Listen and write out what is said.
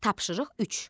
Tapşırıq 3.